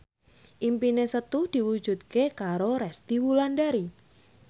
impine Setu diwujudke karo Resty Wulandari